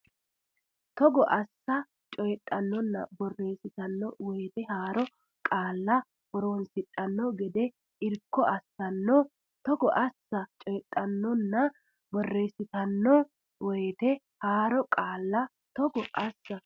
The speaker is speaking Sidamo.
Togo assa coydhannonna borreessitanno woyte haaro qaalla horonsidhanno gede irko assitanno Togo assa coydhannonna borreessitanno woyte haaro qaalla Togo assa.